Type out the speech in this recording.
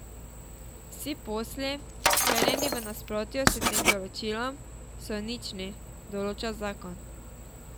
Vsi posli, sklenjeni v nasprotju s tem določilom, so nični, določa zakon.